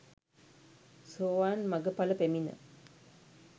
සෝවාන් මග ඵල පැමිණ